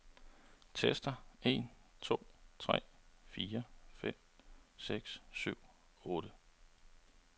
Tester en to tre fire fem seks syv otte.